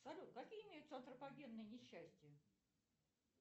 салют какие имеются антропогенные несчастья